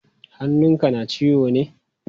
Hannun ka na ciwo ne?